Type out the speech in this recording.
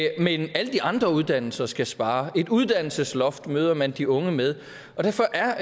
men alle de andre uddannelser skal spare et uddannelsesloft møder man de unge med derfor er